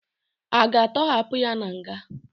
A ga-atọhapụ ya na nga?